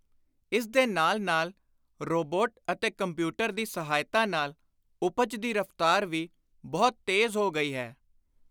ਇਸ ਦੇ ਨਾਲ ਨਾਲ ਰੋਬੋਟ ਅਤੇ ਕੰਪਿਊਟਰ ਦੀ ਸਹਾਇਤਾ ਨਾਲ ਉਪਜ ਦੀ ਰਫ਼ਤਾਰ ਵੀ ਬਹੁਤ ਤੇਜ਼ ਹੋ ਗਈ ਹੈ।